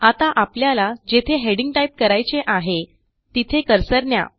आता आपल्याला जेथे हेडिंग टाईप करायचे आहे तिथे कर्सर न्या